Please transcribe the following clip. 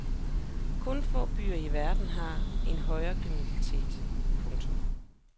Kun få byer i verden har en højere kriminalitet. punktum